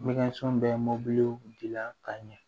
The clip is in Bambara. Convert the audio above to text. bɛ mobiliw dilan ka ɲɛ